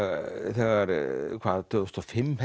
þegar hvað tvö þúsund og fimm